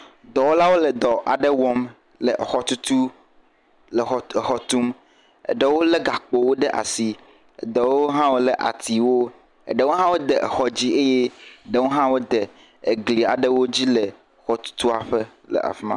Dɔwɔlaɖewo wole afiɖe le dɔwɔm, wokɔ machine kɔ le vudo ɖem, exɔwo le fima. Dɔwɔlawo tɔ ɖe gakpoa ŋuti. Ŋutsuwo nye ameawo l'afima, eʋu le fima, gakpo sesẽwo le fima, exɔwo le fima.